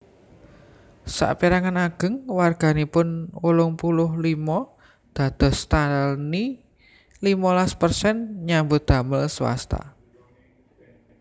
Sapérangan ageng warganipun wolung puluh limo dados tani limolas persen nyambut damel swasta